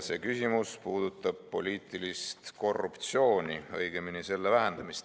See puudutab poliitilist korruptsiooni, õigemini selle vähendamist.